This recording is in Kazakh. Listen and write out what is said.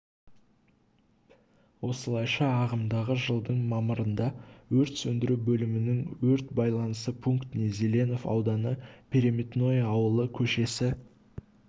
осылайша ағымдағы жылдың мамырында өрт сөндіру бөлімінің өрт байланысы пунктіне зеленов ауданы переметное ауылы көшесі